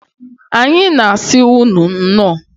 Anyị na asi ụnụ nnọọ.